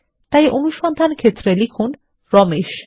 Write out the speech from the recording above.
তাই অনুসন্ধান ক্ষেত্রে লিখুন রমেশ